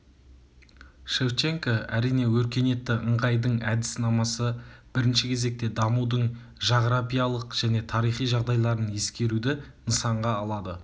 шевченко әрине өркениетті ыңғайдың әдіснамасы бірінші кезекте дамудың жағырапиялық және тарихи жағдайларын ескеруді нысанға алады